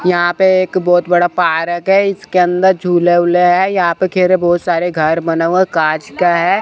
यहां पे एक बहोत बड़ा पार्क है इसके अंदर झूले ऊले हैं यहां पे खेरे बहोत सारे घर बना हुआ कांच का है।